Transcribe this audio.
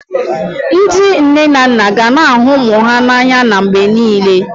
Ndị nne na nna ga na-ahụ ụmụ ha n'anya mgbe niile